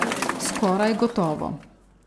Skoraj gotovo.